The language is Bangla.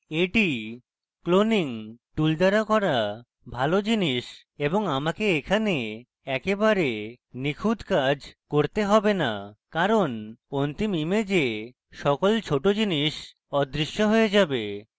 এটি cloning tool দ্বারা করা ভালো জিনিস এবং আমাকে এখানে একেবারে নিখুঁত কাজ করতে have না কারণ অন্তিম image সকল ছোট জিনিস অদৃশ্য হয়ে যাবে